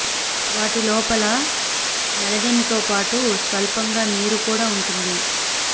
వాటి లోపల మెలనిన్ తో పాటు స్వల్పంగా నీరు కూడా ఉంటుంది